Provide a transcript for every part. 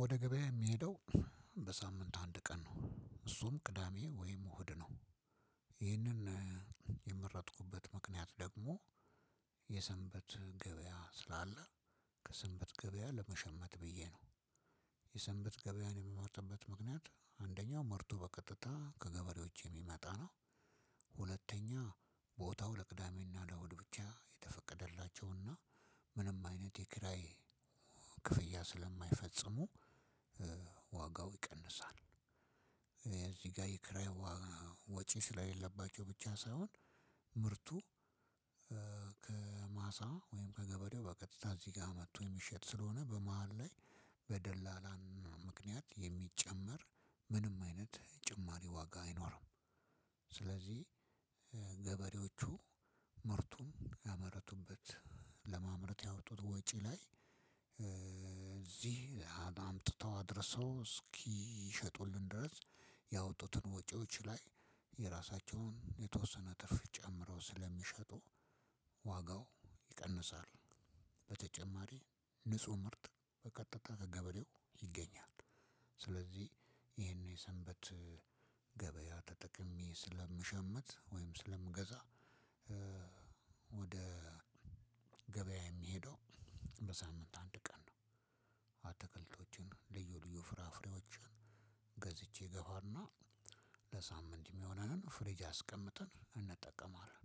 ወደ ገበያ የሚሄደው በሳምንት አንድ ቀን ነው። እሱም ቅዳሜ ወይም እሁድ ነው። ይህንን የመረጥኩበት ምክንያት ደግሞ የሰንበት ገበያ ስላለ ከሰንበት ገበያ ለመሸመት ብዬ ነው። የሰንበት ገበያ የምመርጥበት ምክንያት አንደኛ ምርቱ በቀጥታ ከገበሬዎች የሚመጣ ነው። ሁለተኛ ቦታው ለቅዳሜና ለእሑድ ብቻ የተፈቀደላቸው እና ምንም አይነት የክራይ ክፍያ ስለማፍፈፅሙ ዋጋው ይቀንሳል። እዚህ ጋር የክራይ ወጪ ስለሌለባቸው ብቻ ሳይሆን ምርቱ ከማሳ ወይም ከገበሬው በቀጥታ እዚህ ጋር መጥቶ የሚሽት ስለሆነ በመሃል ላይ በደላላ ምክንያት የሚጨመር ምንም አይነት ጭማሪ ዋጋ አይኖርም። ስለዚህ ገበሬዎቹ ምርቱን ያመረቱበት ለማምረት ያወጡት ወጪ ላይ እዚህ አምጥተው አድርሰው እስኪሸጡልን ድረስ ያወጡትን ወጪዎች ላይ የራሳቸውን የተወሰነ ትርፍ ጨምረው ስለሚሸጡ ዋጋው ይቀንሳል። በተጨማሪ ንጹህ ምርት በቀጥታ ከገበሬው ይገኛል። ስለዚህ ይሄንን የሰንበት ገበያ ተጠቅሜ ስለምሸምት ወይም ስለምገዛ ወደ ገበያ የሚሄደው በሳምንት አንድ ቀን ነው። አትክልቶችን ልዩ ልዩ ፍራፍሬዎችን ገዝቼ እገባና ለሳምንት የሚሆነንን ፍሪጅ አስቀምጠን እንጠቀማለን።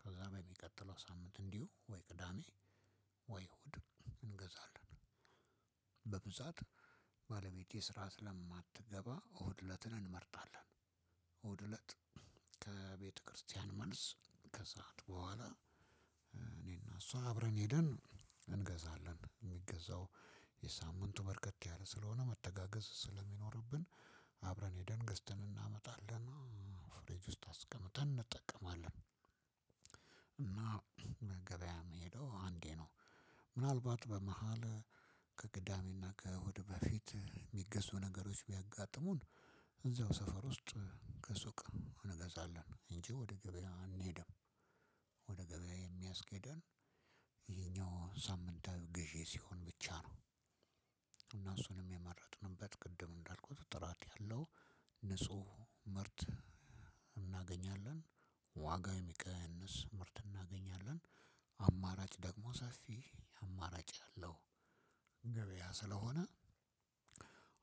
ከዛ በሚቀጥለው ሳምንት እንዲሁ ወይ ቅዳሜ ወይ እሁድ እንገዛለን። በብዛት ባለቤቴ ስራ ስለማትገባ እሁድ እለትን እንመርጣለን። እሁድ እለት ከቤተክርስቲያን መልስ ከሰአት በኋላ እኔና እሷ አብረን ሄደን እንገዛለን የሚገዛው የሳምንቱ በርከት ያለ ስለሆነ መተጋገዝ ስለሚኖርብን አብረን ሄደን ገዝተን እናመጣለን። ፍሪጅ ውስጥ አስቀምጠን እንጠቀማለን። እና ገበያ ምሄደው አንዴ ነው። ምናልባት በመኃል ከቅዳሜና ከእሑድ በፊት ሚገዙ ነገሮች ቢያጋጥሙን እዛው ሰፈር ውስጥ ከሱቅ እንገዛለን እንጂ ወደ ገበያ አንሄድም። ወደ ገበያ የሚያስኬደን ይሄኛው ሳምንታዊ ግዢ ብቻ ሲሆን ነው። እና እሱንም የመረጥንበት ቅድም እንዳልኩት ጥራት አለው ንጹህ ምርት እናገኛለን። ዋጋ የሚቀንስ ምርት እናገኛለን። አማራጭ ደግሞ ሰፊ አማራጭ አለው። ገበያ ስለሆነ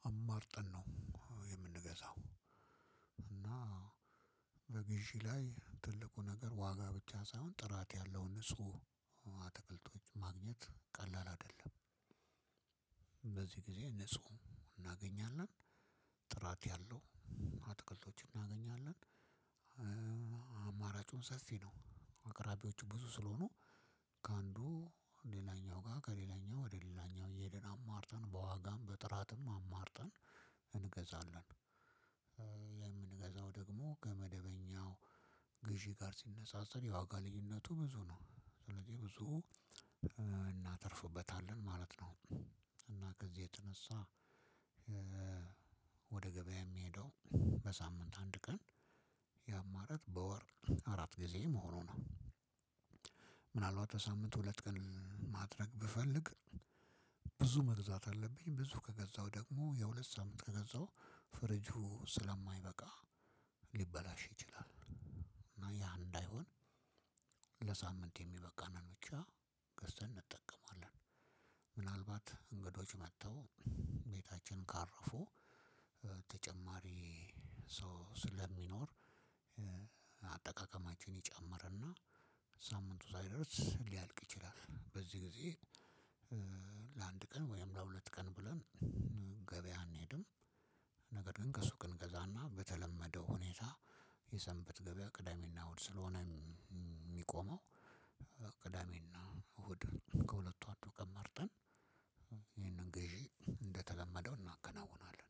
አማርጠን ነው የምንገዛው። እና በግዢ ላይ ትልቁ ነገር ዋጋ ብቻ ሳይሆን ጥራት ያለውን ንጹህ አትክልቶች ማግኘት ቀላል አይደለም። በዚህ ጊዜ ንጹህ እናገኛለን ጥራት ያለው አትክልቶች እናገኛለን። አማራጩን ሰፊ ነው አቅራቢዎቹ ብዙ ስለሆኑ ከአንዱ ሌላኛው ጋር ከሌላኛው ወደ ሌላኛው እየሄድን አማርጠን በዋጋም በጥራትም አማርጠን እንገዛለን። የምንገዛው ደግሞ ከመደበኛው ግዢ ጋር ሲነጻጸር የዋጋ ልዩነቱ ብዙ ነው ስለዚህ ብዙ እናተርፍበታለን ማለት ነው። እና ከዚህ የተነሳ ወደ ገበያ የሚሄደው በሳምንት አንድ ቀን የአማራጭ በወር አራት ጊዜ መሆኑ ነው። ምናልባት በሳምንት ሁለት ቀን ማድረግ ብፈልግ ብዙ መግዛት አለብኝ ብዙ ከገዛው ደግሞ የሁለት ሳምንት ከገዛው ፍሪጁ ስለማይበቃ ሊበላሽ ይችላል። እና ያ እንዳይሆን ለሳምንት የሚበቃንን ብቻ ገዝተን እንጠቀማለን። ምናልባት እንግዶች መጥተው ቤታችን ካረፉ ተጨማሪ ሰው ስለሚኖር አጠቃቀማችን ይጨምርና ሳምንቱ ሳይደርስ ሊያልቅ ይችላል። በዚህ ጊዜ ለአንድ ቀን ወይም ለሁለት ቀን ብለን ገበያ አንሄድም። ነገር ግን ከሱቅ እንገዛና በተለመደው ሁኔታ የሰንበት ገበያ ቅዳሜና እሁድ ስለሆነ ሚቆመው ቅዳሜና እሁድ ከሁለቱ አንዱ ቀን መርጠን ይህንን ገዢ እንደተለመደው እናከናውናለን።